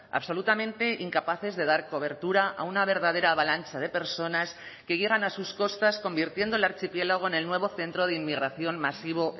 absolutamente incapaces de dar cobertura a una verdadera avalancha de personas que llegan a sus costas convirtiendo el archipiélago en el nuevo centro de inmigración masivo